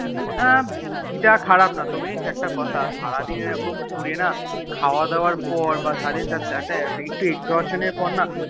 আহ বুদ্ধি তা খারাপ না তবে জানিস একটা কথা সারাদিন এরম ঘুরে না খাওয়াদাওয়ার পর একটু Exhaustion এর পর